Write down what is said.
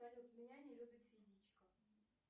салют меня не любит физичка